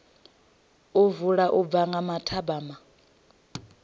vula u bva nga mathabama